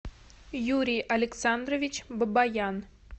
юрий александрович бабаян